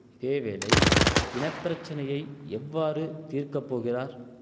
இதேவேளை இன பிரச்சனையை எவ்வாறு தீர்க்கப் போகிறார்